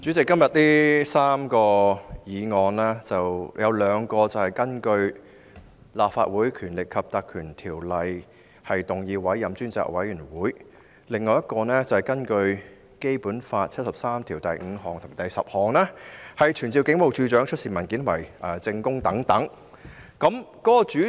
主席，今天這項辯論涵蓋3項議案，兩項是根據《立法會條例》委任專責委員會，另一項則是根據《基本法》第七十三條第五項及第十項動議傳召警務處處長出示文件和作證。